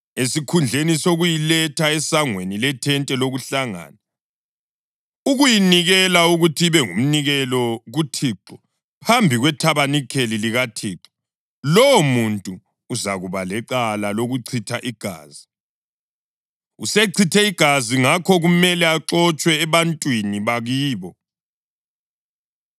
esikhundleni sokuyiletha esangweni lethente lokuhlangana, ukuyinikela ukuthi ibe ngumnikelo kuThixo phambi kwethabanikeli likaThixo, lowomuntu uzakuba lecala lokuchitha igazi; usechithe igazi ngakho kumele axotshwe ebantwini bakibo.